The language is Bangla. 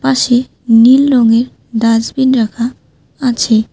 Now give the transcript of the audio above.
পাশে নীল রঙের ডাস্টবিন রাখা আছে।